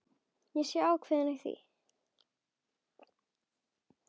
Sé ákveðin í því.